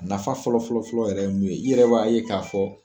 Nafa fɔlɔ-fɔlɔ-fɔlɔ ye mun ye i yɛrɛ b'a ye k'a fɔ